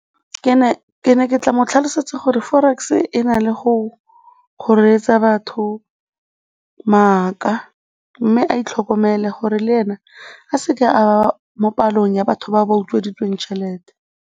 Ke tla mo tlhalosetsa gore forex-e e na le go reetsa batho maaka mme a itlhokomele gore le ene a se ke a mo palong ya batho ba ba utsweditsweng tšhelete.